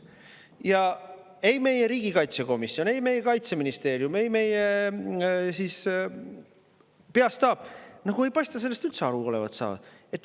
Aga ei meie riigikaitsekomisjon, ei meie Kaitseministeerium ega meie peastaap ei paista olevat üldse sellest aru saanud.